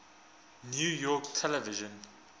new york television